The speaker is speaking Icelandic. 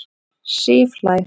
Sif hlær.